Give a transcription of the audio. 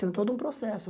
Tenho todo um processo.